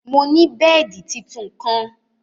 Mò ni bẹẹdi títún kan.